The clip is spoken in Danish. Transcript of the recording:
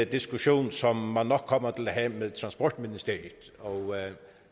diskussion som man nok kommer til at have med transportministeriet og